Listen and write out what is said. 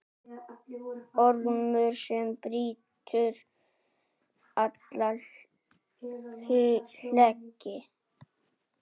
Ormur sem brýtur alla hlekki.